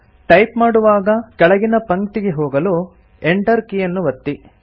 type ಮಾಡುವಾಗ ಕೆಳಗಿನ ಪಂಕ್ತಿಗೆ ಹೋಗಲು Enter ಕೀಯನ್ನು ಒತ್ತಿ